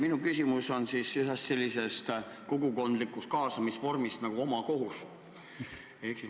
Minu küsimus on ühe sellise kogukondliku kaasamisvormi kohta nagu omakohus.